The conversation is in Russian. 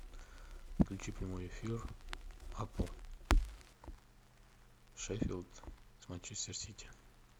включи прямой эфир апл шеффилд с манчестер сити